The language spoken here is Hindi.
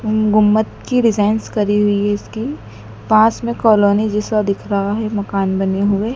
गुम गुम्बद की डिजाइनस करी हुई है इसकी पास में कॉलोनी जैसा दिख रहा है मकान बने हुए।